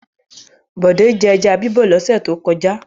Bọ̀dé jẹ ẹja bíbọ̀ lọ́sẹ̀ tó kọjá?